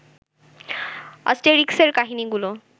অ্যাস্টেরিক্সের কাহিনীগুলো